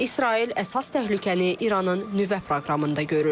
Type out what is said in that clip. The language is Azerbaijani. İsrail əsas təhlükəni İranın nüvə proqramında görür.